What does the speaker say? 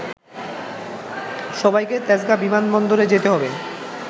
সবাইকে তেজগাঁ বিমানবন্দরে যেতে হবে